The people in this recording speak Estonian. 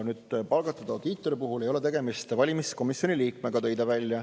Palgatud audiitori näol ei ole tegemist valimiskomisjoni liikmega.